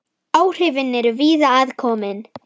Áhrifin eru víða að komin.